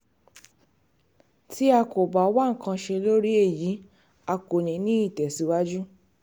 tí a kò bá wá nǹkan ṣe lórí èyí a kò ní í tẹ̀síwájú